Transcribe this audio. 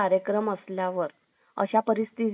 अशा परिस्थितीत दिवसभर